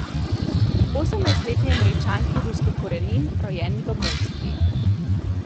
Osemnajstletni Američanki ruskih korenin, rojeni v Moskvi.